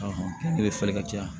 ne bɛ falen ka caya